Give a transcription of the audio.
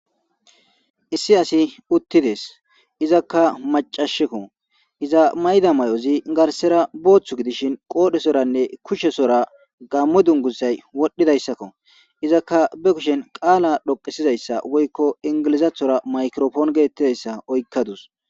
issi asi uttides izakka macashekko iza mayda may7ozi garsera booththu gidishin qoodhesoranne kushesora gammo dungussay wodhdhidayssakko izakka be kushen qaala dhoqsizayssa woykko ingilizathora maykrofoon geettidayssa oykkadus